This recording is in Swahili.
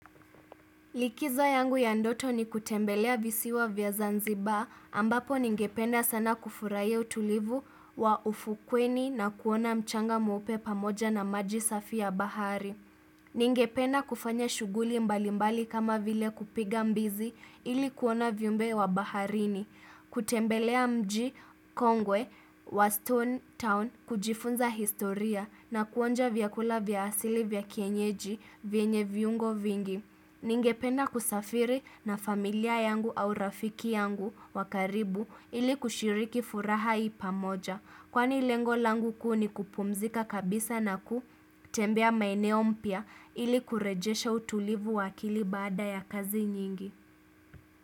Likizo yangu ya ndoto ni kutembelea visiwa vya Zanzibar, ambapo ningependa sana kufurahia utulivu wa ufukweni na kuona mchanga mweupe pamoja na maji safi ya bahari. Ningependa kufanya shughuli mbalimbali kama vile kupiga mbizi ili kuona viumbe vya baharini. Kutembelea mji Kongwe wa Stone Town kujifunza historia na kuonja vyakula vya asili vya kienyeji vyenye viungo vingi. Ningependa kusafiri na familia yangu au rafiki yangu wa karibu ili kushiriki furaha hii pamoja kwani lengo langu kuu ni kupumzika kabisa na kutembea maeneo mpya ili kurejesha utulivu wa akili baada ya kazi nyingi.